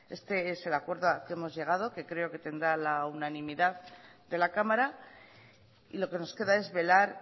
este es el acuerdo al que hemos llegado que creo que tendrá la unanimidad de la cámara y lo que nos queda es velar